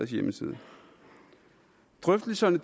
hjemmeside drøftelserne